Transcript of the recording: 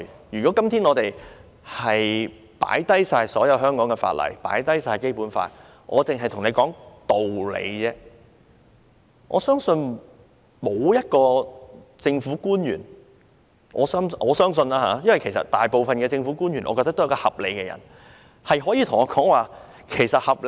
如果今天我們放下所有香港法例或《基本法》而只看道理，我相信沒有一位政府官員——我相信每位政府官員都是合理的人——可以跟我說丁屋政策是合理的。